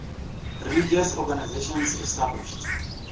religious organizations established